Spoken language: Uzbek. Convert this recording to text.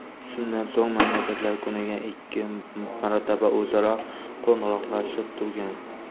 Shundan so‘ng, mamlakatlar kuniga ikki marotaba o‘zaro qo‘ng‘iroqlashib turgan.